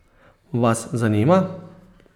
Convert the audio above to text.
Vas zanima?